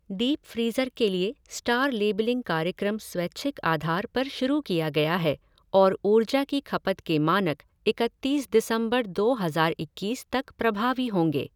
Deep freezer के लिए star labelling कार्यक्रम स्वैच्छिक आधार पर शुरू किया गया है और ऊर्जा की खपत के मानक इकतीस दिसंबर दो हज़ार इक्कीस तक प्रभावी होंगे।